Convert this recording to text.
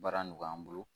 Baara nɔgɔya an bolo